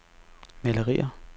malerier